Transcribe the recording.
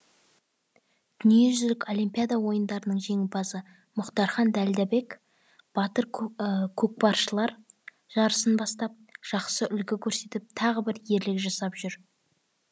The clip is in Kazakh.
дүниежүзілік олимпиада ойындарының жеңімпазы мұхтархан дәлдәбек батыр көкпаршылар жарысын бастап жақсы үлгі көрсетіп тағы бір ерлік жасап жүр